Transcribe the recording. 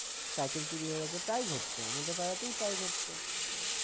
cycle চুরি হয়ে গেছে তাই হচ্ছে আমাদের পাড়াতেই প্রায় হচ্ছে